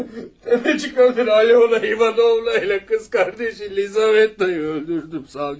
Təfəçik qarıyı, ah o qoca imanlı qız qardaşı Lizavettayı öldürdüm savcı bəy.